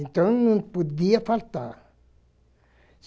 Então, não podia faltar.